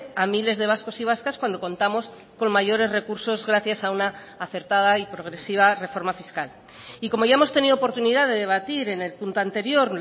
a miles de vascos y vascas cuando contamos con mayores recursos gracias a una acertada y progresiva reforma fiscal y como ya hemos tenido oportunidad de debatir en el punto anterior